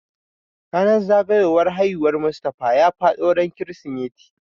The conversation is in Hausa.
Ranan zagayowar haihuwar Mustafa ya faɗo ran kirismeti